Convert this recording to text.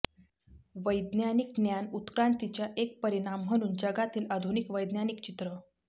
वैज्ञानिक ज्ञान उत्क्रांतीच्या एक परिणाम म्हणून जगातील आधुनिक वैज्ञानिक चित्र